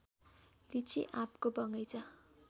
लिचि आँपको बगैंचा